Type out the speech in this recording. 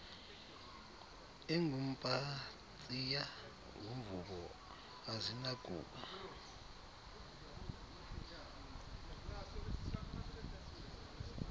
ingumpatsiya ngumvubo azinakuba